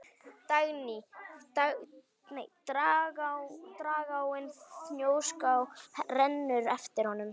Dragáin Fnjóská rennur eftir honum.